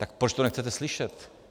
- Tak proč to nechcete slyšet?